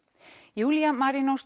Júlía